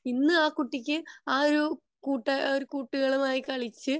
ഇന്ന് അഹ് കുട്ടിക് അഹ് ഒരു കൂട്ടുകാരുമായി കളിച്ച്